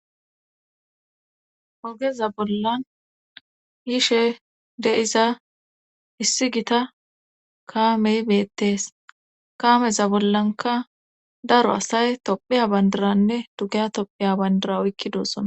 Ogeza bollan yishe deiza issi gita kaamey beettees kameza bollanka daro asay tophiya bandaranne dugeya tophiya bandara oykki doossona.